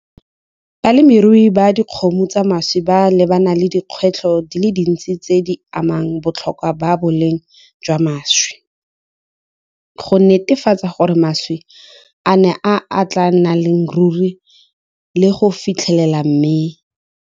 Balemirui ba dikgomo tsa mašwi ba lebana le dikgwetlho di le dintsi tse di amang botlhokwa ba boleng jwa mašwi, go netefatsa gore mašwi a nne a tla nnang le ruri le go fitlhelela .